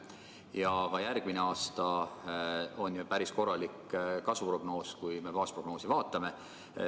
Ja ka järgmine aasta on ju päris korralik kasvuprognoos, kui me baasprognoosi vaatame.